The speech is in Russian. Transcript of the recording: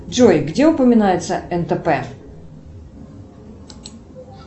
джой где упоминается нтп